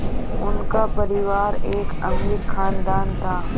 उनका परिवार एक अमीर ख़ानदान था